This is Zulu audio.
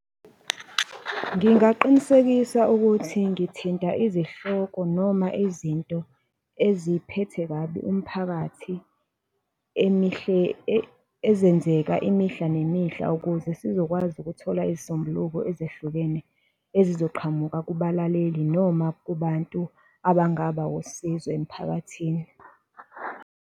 Ngingaqinisekisa ukuthi ngithinta izihloko noma izinto eziphethe kabi umphakathi ezenzeka imihla nemihla ukuze sizokwazi ukuthola izisombuluko ezehlukene ezizoqhamuka kubalaleli noma kubantu abangaba wusizo emiphakathini.